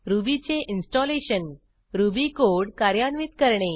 रुबीचे installation Ruby code कार्यान्वित करणे